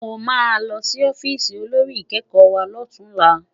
Mó má lò si òfìsí ôlórí ikèékò wá lòtúnlá